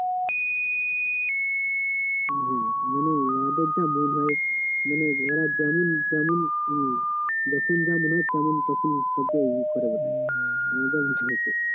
ওদের যা মন ভাই মানে ওরা যেমন যেমন যখন যা মনে হই তেমন তখন করে বেরায় মজা নিতে থাকে